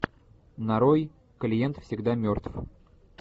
нарой клиент всегда мертв